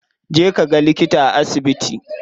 Je kaga likita a asibiti.